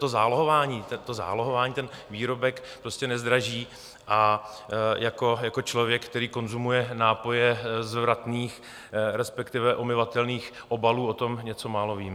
To zálohování ten výrobek prostě nezdraží, a jako člověk, který konzumuje nápoje z vratných, respektive omyvatelných obalů, o tom něco málo vím.